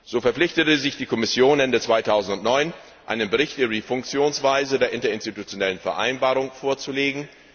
So verpflichtete sich die Kommission, Ende 2009 einen Bericht über die Funktionsweise der Interinstitutionellen Vereinbarung vorzulegen.